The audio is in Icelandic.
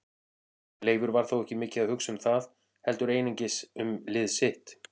Leifur var þó ekki mikið að hugsa um það heldur einungis um lið sitt.